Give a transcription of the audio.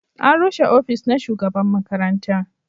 an rushe ofis na shugaban makaranta